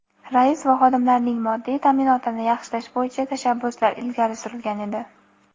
rais va xodimlarning moddiy ta’minotini yaxshilash bo‘yicha tashabbuslar ilgari surilgan edi.